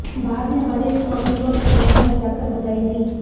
बाद में वरिष्ठ वकीलाें ने चैंबर में जाकर बधाई दी